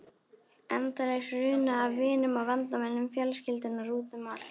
Endalaus runa af vinum og vandamönnum fjölskyldunnar út um allt.